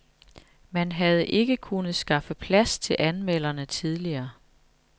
Man havde ikke kunnet skaffe plads til anmelderne tidligere.